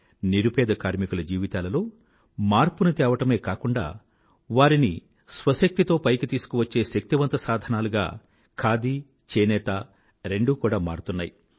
నిరుపేద కార్మికుల జీవితాలలో మార్పుని తేవడమే కాకుండా వారిని శ్వశక్తితో పైకి తీసుకువచ్చే శక్తివంత సాధనాలుగా ఖాదీ చేనేత రెండూ కూడా మారుతున్నాయి